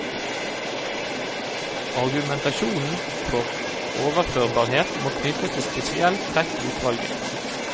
Argumentasjonen for overførbarhet må knyttes til spesielle trekk ved utvalget.